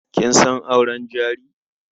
Kin san auren jari?